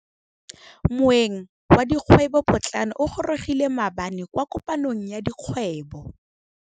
Moêng wa dikgwêbô pôtlana o gorogile maabane kwa kopanong ya dikgwêbô.